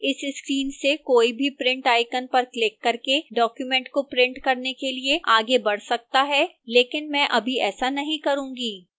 इस screen से कोई भी print icon पर क्लिक करके document को print करने के लिए आगे बढ़ सकता है लेकिन मैं अभी ऐसा नहीं करूंगा